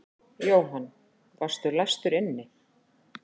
Jóhann: Varstu læstur inni?